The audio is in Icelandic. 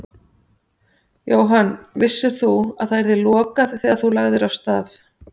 Jóhann: Vissir þú að það yrði lokað þegar þú lagðir af stað?